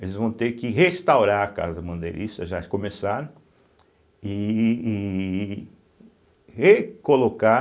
Eles vão ter que restaurar a Casa Bandeirista, já começaram, e e recolocar